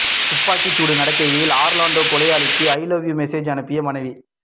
துப்பாக்கிச்சூடு நடக்கையில் ஆர்லான்டோ கொலையாளிக்கு ஐ லவ் யூ மெசேஜ் அனுப்பிய மனைவி